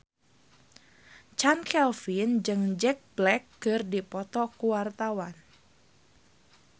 Chand Kelvin jeung Jack Black keur dipoto ku wartawan